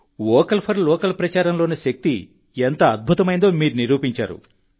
vocal for local ప్రచారంలోని శక్తి ఎంత అద్భుతమైందో మీరు నిరూపించారు